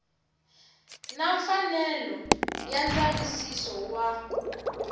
na mfanelo ya ndzavisiso wa